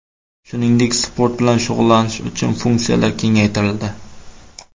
Shuningdek, sport bilan shug‘ullanish uchun funksiyalar kengaytirildi.